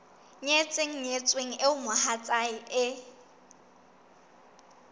nyetseng nyetsweng eo mohatsae e